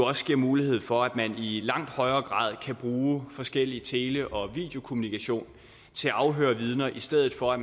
også giver mulighed for at man i langt højere grad kan bruge forskellig tele og videokommunikation til at afhøre vidner i stedet for at